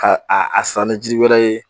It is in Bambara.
Ka a a sanni ji wɛrɛ ye